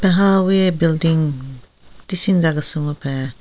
Apeng hawi building tisi nza kese mupen.